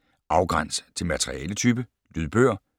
Afgræns til materialetype: lydbøger